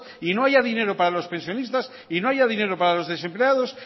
y no haya dinero para los pensionistas y no haya dinero para los desempleados